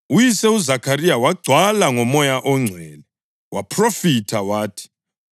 Uyise uZakhariya wagcwala ngoMoya oNgcwele waphrofitha wathi: